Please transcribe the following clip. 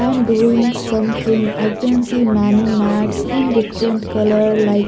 And doing something i can see many mats in different colour like --